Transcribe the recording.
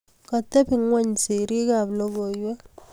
Kotebe ngony serii ab lokoiwek.